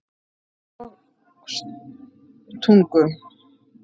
Leirvogstungu